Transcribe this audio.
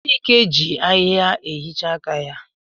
Chike ji ahịhịa ehichaa aka ya.